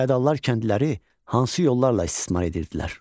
Fiodallar kəndliləri hansı yollarla istismar edirdilər?